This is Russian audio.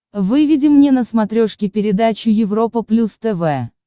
выведи мне на смотрешке передачу европа плюс тв